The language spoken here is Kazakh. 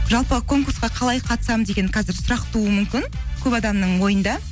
жалпы конкурсқа қалай қатысамын деген қазір сұрақ тууы мүмкін көп адамның ойында